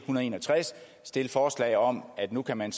og en og tres at stille forslag om at nu kan man